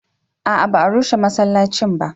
a'a ba a rushe masallacin ba